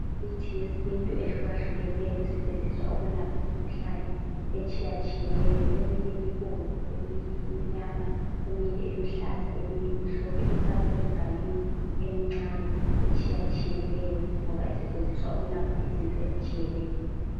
Imithi yesintu ehlukahlukeneyo, esetshenziswa ukulapha imikhuhlane etshiyatshiyeneyo. Eminye ibomvu, eminye imnyama, eminye iluhlaza eminye imhlophe eminye ifakwe emganinwi emncane etshiyatshiyeneyo ngoba isetshenziswa ukulapha izinto ezitshiyeneyo.